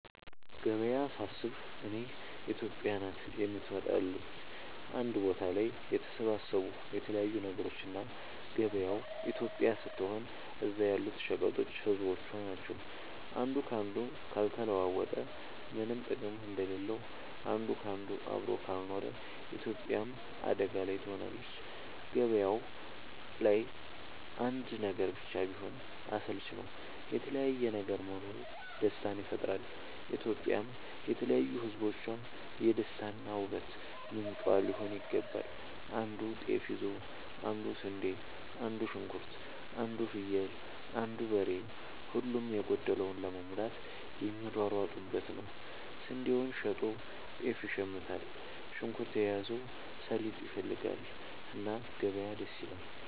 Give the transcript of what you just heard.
ገበያ ሳስብ እኔ ኢትዮጵያ ናት የምትመጣለኝ አንድ ቦታ ላይ የተሰባሰቡ የተለያዩ ነገሮች እና ገበያው ኢትዮጵያ ስትሆን እዛ ያሉት ሸቀጦች ህዝቦቿ ናቸው። አንዱ ካንዱ ካልተለዋወጠ ምነም ጥቅም እንደሌለው አንድ ካንዱ አብሮ ካልኖረ ኢትዮጵያም አደጋ ላይ ትሆናለች። ገባያው ላይ አንድ ነገር ብቻ ቢሆን አስልቺ ነው የተለያየ ነገር መኖሩ ደስታን ይፈጥራል። ኢትዮጵያም የተለያዩ ህዝቦቿ የደስታ እና የ ውበት ምንጯ ሊሆን ይገባል። አንዱ ጤፍ ይዞ አንዱ ስንዴ አንዱ ሽንኩርት አንዱ ፍየል አንዱ በሬ ሁሉም የጎደለውን ለመሙላት የሚሯሯጡበት ነው። ስንዴውን ሸጦ ጤፍ ይሽምታል። ሽንኩርት የያዘው ሰሊጥ ይፈልጋል። እና ገበያ ደስ ይላል።